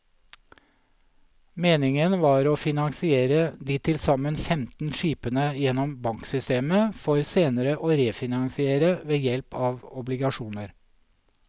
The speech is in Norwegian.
Meningen var å finansiere de tilsammen femten skipene gjennom banksystemet, for senere å refinansiere ved hjelp av obligasjoner.